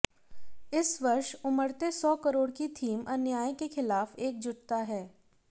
इस वर्ष उमड़ते सौ करोड़ की थीम अन्याय के खिलाफ एकजुटता है